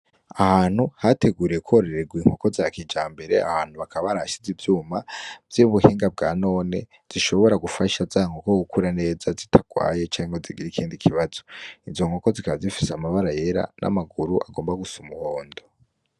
Aha hantu hateguriwe kororegwa inkoko za kijambere, aha hantu bakaba barahashize ivyuma vy'ubuhinga bwa none, zishobora gufasha za nkoko gukura neza zitagwaye canke ngo zigire ikindi kibazo. Izo nkoko zikaba zifise amabara yera n'amaguru agomba gusa umuhondo.